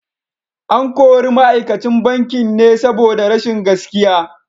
An kori ma’aikacin bankin ne saboda rashin gaskiya.